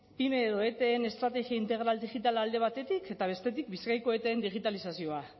edo eteen estrategiagatik alde batetik eta bestetik bizkaiko eteen digitalizazioa